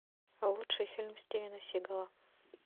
лучший фильм стивена сигала